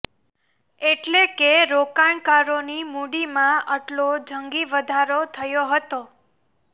એટલે કે રોકાણકારોની મૂડીમાં આટલો જંગી વધારો થયો હતો